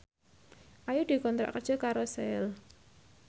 Ayu dikontrak kerja karo Shell